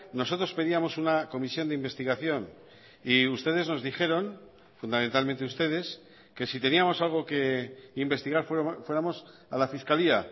nosotros pedíamos una comisión de investigación y ustedes nos dijeron fundamentalmente ustedes que si teníamos algo que investigar fuéramos a la fiscalía